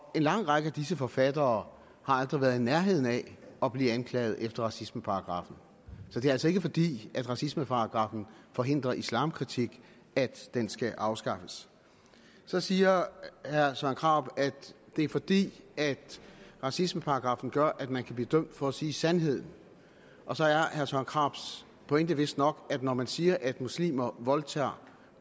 lang række af disse forfattere har aldrig været i nærheden af at blive anklaget efter racismeparagraffen så det er altså ikke fordi racismeparagraffen forhindrer islamkritik at den skal afskaffes så siger herre søren krarup at det er fordi racismeparagraffen gør at man kan blive dømt for at sige sandheden og så er herre søren krarups pointe vistnok at når man siger at muslimer voldtager